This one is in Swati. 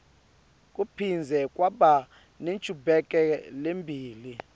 kuphindze kwaba nenchubekelembili